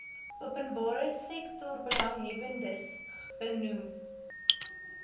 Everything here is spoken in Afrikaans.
openbare sektorbelanghebbers benoem